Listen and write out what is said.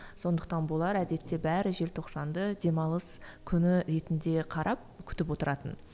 сондықтан болар әдетте бәрі желтоқсанды демалыс күні ретінде қарап күтіп отыратын